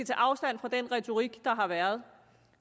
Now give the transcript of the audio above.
tager afstand fra den retorik der har været